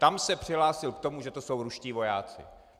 Tam se přihlásil k tomu, že to jsou ruští vojáci.